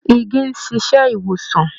Igi ń ṣíṣe ìwòsàn